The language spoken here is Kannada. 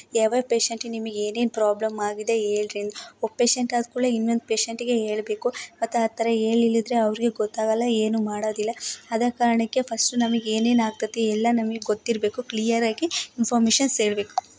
ಯಾವ ಯಾವ ಪೇಶೆಂಟ್ ಗೆ ನಿಮಗೆ ಏನೇನು ಪ್ರಾಬ್ಲಮ್ ಆಗಿದೆ ಹೇಳ್ರಿ. ಒಬ್ಬ ಪೇಶೆಂಟ್ ಆದ ಕೂಡ್ಲೇ ಇನ್ನೊಂದ್ ಪೇಶೆಂಟ್ ಗೆ ಹೇಳ್ಬೇಕು. ಆತರ ಹೇಳಿಲ್ಲ ಅಂದ್ರೆ ಅವ್ರ್ಗೆ ಗೊತ್ತಾಗಲ್ಲ ಏನು ಮಾಡದಿಲ್ಲ. ಆದ ಕಾರಣಕ್ಕೆ ಫಸ್ಟ್ ನಮಿಗ್ ಏನೇನ್ ಆಗತೈತಿ ಎಲ್ಲಾ ನಮಿಗ್ ಗೊತ್ತಿರ್ಬೇಕು ಕ್ಲಿಯರ್ ಆಗಿ ಇನ್ಫೋರ್ಮೇಷನ್ಸ್ ಹೇಳ್ಬೇಕು.